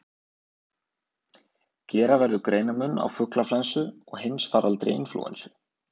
Gera verður greinarmun á fuglaflensu og heimsfaraldri inflúensu.